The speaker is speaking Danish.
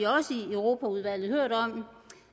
europaudvalget hørt om